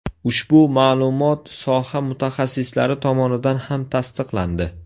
Ushbu ma’lumot soha mutaxassislari tomonidan ham tasdiqlandi.